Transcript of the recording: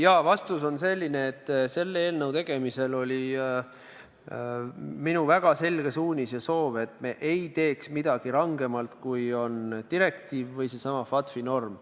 Jaa, vastus on selline, et selle eelnõu tegemisel oli minu väga selge suunis ja soov, et me ei teeks midagi rangemalt, kui näeb ette direktiiv või seesama FATF-i norm.